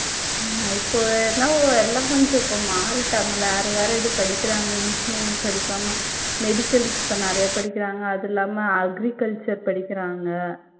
ஆமா இப்ப எல்லாம் கொஞ்ச இப்ப மாறிட்டாங்க. வேற, வேற இது படிக்கிறாங்க engineering படிக்காம medical க்கு இப்ப நிறைய படிக்கிறாங்க அதில்லாம agriculture படிக்கிறாங்க.